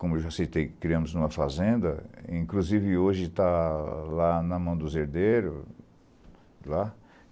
Como eu já citei, criamos em uma fazenda, inclusive hoje está lá na mão dos herdeiros, lá.